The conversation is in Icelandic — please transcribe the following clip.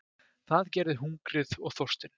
Það gerði hungrið og þorstinn.